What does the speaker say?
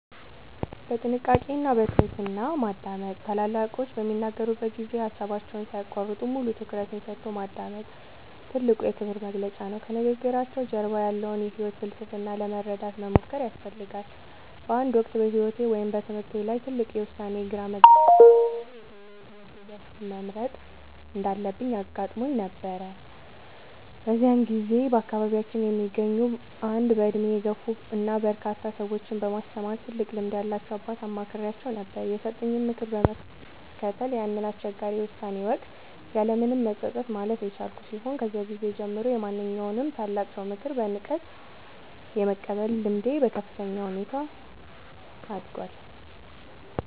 በጥንቃቄ እና በትህትና ማዳመጥ፦ ታላላቆች በሚናገሩበት ጊዜ ሃሳባቸውን ሳይያቋርጡ፣ ሙሉ ትኩረትን ሰጥቶ ማዳመጥ ትልቁ የክብር መግለጫ ነው። ከንግግራቸው ጀርባ ያለውን የህይወት ፍልስፍና ለመረዳት መሞከር ያስፈልጋል። በአንድ ወቅት በህይወቴ ወይም በትምህርቴ ላይ ትልቅ የውሳኔ ግራ መጋባት (ለምሳሌ የትኛውን የትምህርት ዘርፍ መምረጥ እንዳለብኝ) አጋጥሞኝ በነበረበት ጊዜ፣ በአካባቢያችን የሚገኙ አንድ በእድሜ የገፉ እና በርካታ ሰዎችን በማስተማር ትልቅ ልምድ ያላቸውን አባት አማክሬአቸው ነበር። የሰጡኝን ምክር በመከተል ያንን አስቸጋሪ የውሳኔ ወቅት ያለምንም መጸጸት ማለፍ የቻልኩ ሲሆን፣ ከዚያ ጊዜ ጀምሮ የማንኛውንም ታላቅ ሰው ምክር በንቃት የመቀበል ልምዴ በከፍተኛ ሁኔታ አድጓል።